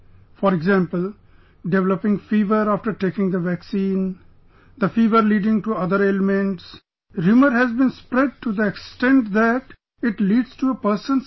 For example, developing fever after taking the vaccine...the fever leading to other ailments...rumour has been spread to the extent that it leads to a person's death